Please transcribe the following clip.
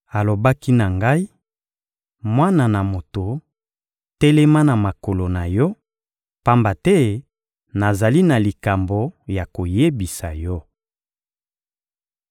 Alobaki na ngai: «Mwana na moto, telema na makolo na yo; pamba te nazali na likambo ya koyebisa yo.»